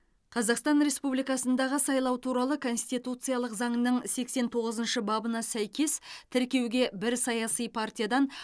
қазақстан республикасындағы сайлау туралы конституциялық заңның сексен тоғызыншы бабына сәйкес тіркеуге бір саяси партиядан